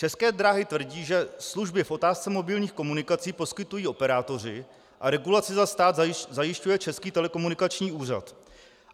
České dráhy tvrdí, že služby v otázce mobilních komunikací poskytují operátoři a regulaci za stát zajišťuje Český telekomunikační úřad.